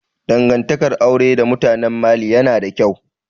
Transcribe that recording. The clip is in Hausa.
Dangantakar aure da mutanen Mali yana da ƙyau